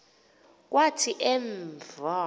kwathi en v